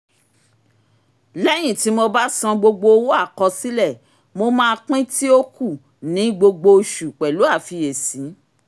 léyìn tí mo bá san gbogbo owó àkọsílẹ̀ mo máa pín tí ó ku ní gbogbo oṣù pẹ̀lú àfiyesi